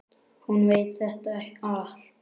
Hún veit þetta allt.